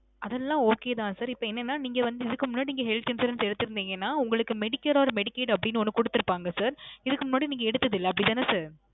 அதெல்லாம் okay தான் sir. இப்போ என்னனா நீங்க வந்து இதுக்கு முன்னாடி நீங்க health insurance எடுத்து இருந்தீங்கனா, உங்களுக்கு medicare or Medicaid அப்பிடின்னு ஒன்னு குடுத்திருப்பாங்க sir. இதுக்கு முன்னாடி நீங்க எடுத்ததில்லை அப்பிடி தானே sir?